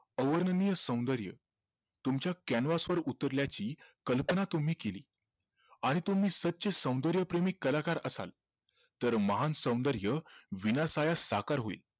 अवर्णनीय सौंदर्य तुमच्या canvas वर उतरल्याची कल्पना तुम्ही केली आणि तुम्ही सच्चे सौंदर्यप्रेमी कलाकार असाल तर महान सौंदर्य विनाशाळा साकार होईल